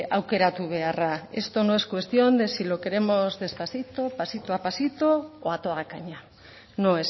aukeratu beharra esto no es cuestión de si lo queremos despacito pasito a pasito o a toda caña no